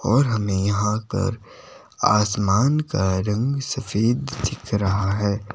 और हमें यहां कर आसमान का रंग सफेद दिख रहा है।